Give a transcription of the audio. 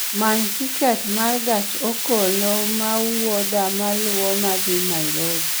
many tiket ma gach okoloma wuodha maluwo ma dhi nairobi